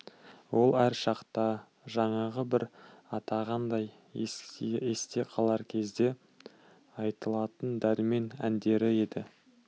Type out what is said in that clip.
ол әр шақта жаңағы бір атағандай есте қалар кезде айтылатын дәрмен әндері еді